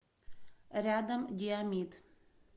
рядом диомид